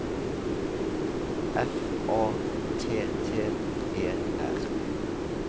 F A T T E R